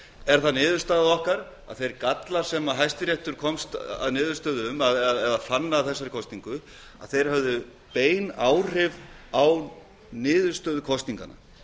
er það niðurstaða okkar að þeir gallar sem hæstiréttur komst að niðurstöðu um eða fagna að þessari kosningu að þeir höfðu bein áhrif á niðurstöðu kosninganna